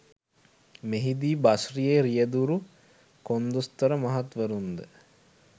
මෙහිදී බස්රියේ රියැදුරු කොන්දොස්තර මහත්වරුන්ද